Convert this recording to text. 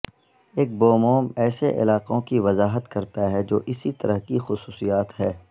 ایک بوموم ایسے علاقوں کی وضاحت کرتا ہے جو اسی طرح کی خصوصیات ہے